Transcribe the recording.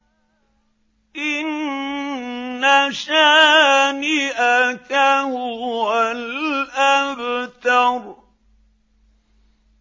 إِنَّ شَانِئَكَ هُوَ الْأَبْتَرُ